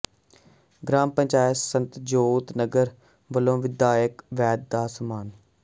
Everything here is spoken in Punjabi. ਗਰਾਮ ਪੰਚਾਇਤ ਸਤਜੋਤ ਨਗਰ ਵੱਲੋਂ ਵਿਧਾਇਕ ਵੈਦ ਦਾ ਸਨਮਾਨ